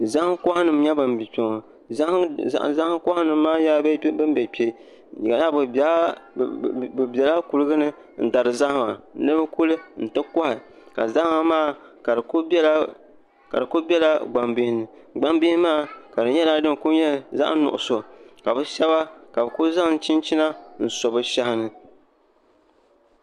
Zahan koha nim nyɛ ba bɛ kpeŋɔ ka di nyɛla ban kuligini n dari bɛ zahima ni bɛkuli n ti koha ka zahama maa ka dikuli bɛla gban bihini gban bihimaa ka di kuli nyɛla zaɣ' nuɣuso ka bɛ shɛba ka bi kuli zanla chinchina n so bɛ shɛhini